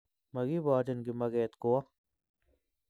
Makiboorchin kimakeet kowo